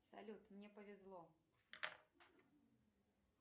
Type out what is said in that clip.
салют мне повезло